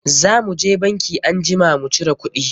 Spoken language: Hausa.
Za mu je banki anjima mu cira kuɗi.